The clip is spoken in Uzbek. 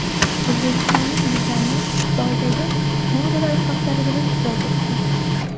O‘zbekistonlik dizayner Xitoydagi modalar haftaligida ishtirok etdi .